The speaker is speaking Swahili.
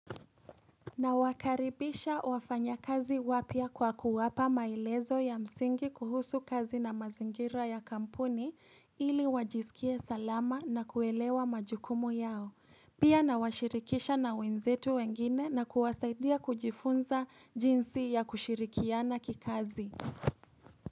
Na wakaribisha wafanya kazi wapya kwa kuwapa maelezo ya msingi kuhusu kazi na mazingira ya kampuni ili wajisikie salama na kuelewa majukumu yao. Pia na washirikisha na wenzetu wengine na kuwasaidia kujifunza jinsi ya kushirikiana kikazi.